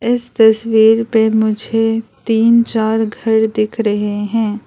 इस तस्वीर पे मुझे तीन चार घर दिख रहे हैं।